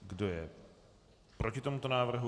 Kdo je proti tomuto návrhu?